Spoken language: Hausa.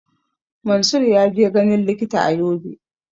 Mansur zai je ganin likita a Yobe